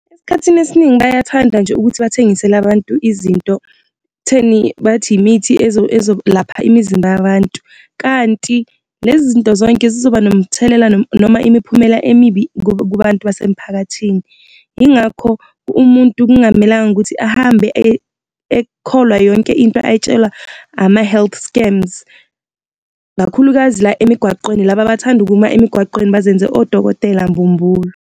Esikhathini esiningi bayathanda nje ukuthi bathengisele abantu izinto ekutheni bathi imithi ezolapha imizimba yabantu, kanti lezi zinto zonke zizoba nomthelela noma imiphumela emibi kubantu basemphakathini. Yingakho umuntu kungamelanga ukuthi ahambe ekholwa yonke into ayitshelwa ama-health scams, kakhulukazi la emigwaqweni, laba abathanda ukuma emigwaqweni bazenze odokotela mbumbulu.